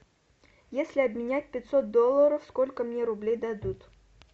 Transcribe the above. если обменять пятьсот долларов сколько мне рублей дадут